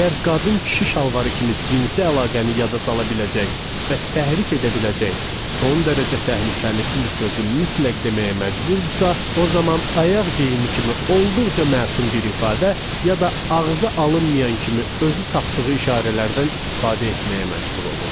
Əgər qadın kişi şalvarı kimi cinsi əlaqəni yada sala biləcək və təhrik edə biləcək son dərəcə təhlükəli bir sözü mütləq deməyə məcburdursa, o zaman ayaq geyimi kimi olduqca məsum bir ifadə ya da ağza alınmayan kimi özü tapdığı işarələrdən istifadə etməyə məcbur olurdu.